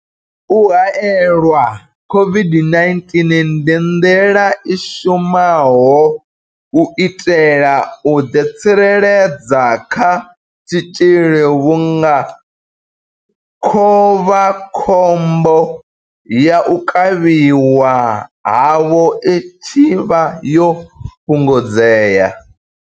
U haelelwa COVID-19 ndi nḓila i shumaho u itela u ḓitsireledza kha tshitzhili vhunga khovha khombo ya u kavhiwa havho i tshi vha yo fhungudzea.